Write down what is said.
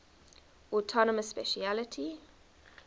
autonomous specialty